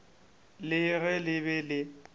le ge le be le